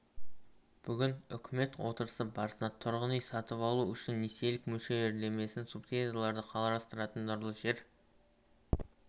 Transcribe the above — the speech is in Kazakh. бүгін үкімет отырысы барысында тұрғын үй сатып алу үшін несиелік мөлшерлемесін субсидиялауды қарастыратын нұрлы жер